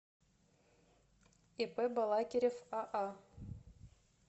ип балакирев аа